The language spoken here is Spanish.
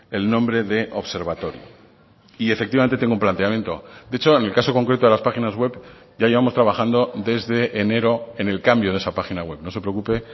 el nombre de observatorio y efectivamente tengo un planteamiento de hecho en el caso concreto de las páginas web ya llevamos trabajando desde enero en el cambio de esa página web no se preocupe